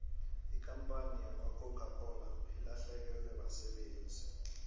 ikampani yakwacoca cola ilahlekelwe basebenzi